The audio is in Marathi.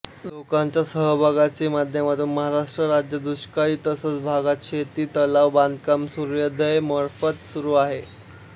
लोकांच्या सहभागाची माध्यमातून महाराष्ट्र राज्य दुष्काळी तसंच भागात शेत तलाव बांधकाम सूर्योदय मार्फ़त सुरू आहेत